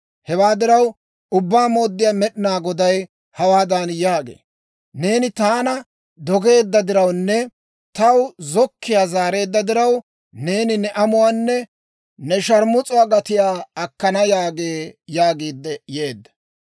«Hewaa diraw, Ubbaa Mooddiyaa Med'inaa Goday hawaadan yaagee; ‹Neeni taana dogeedda dirawunne taw zokkiyaa zaareedda diraw, neeni ne amuwaanne ne sharmus'uwaa gatiyaa akkana› yaagee» yaagiidde yeedda.